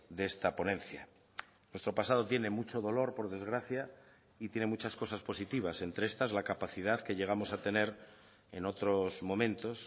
de esta ponencia nuestro pasado tiene mucho dolor por desgracia y tiene muchas cosas positivas entre estas la capacidad que llegamos a tener en otros momentos